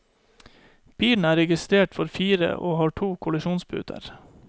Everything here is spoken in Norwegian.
Bilen er registrert for fire og har to kollisjonsputer.